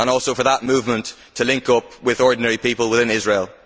and also on that movement linking up with ordinary people within Israel.